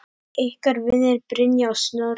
Ykkar vinir, Brynja og Snorri.